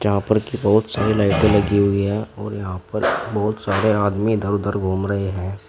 यहां पर की बहुत सारी लाइटें लगी हुई है और यहां पर बहुत सारे आदमी इधर उधर घूम रहे हैं।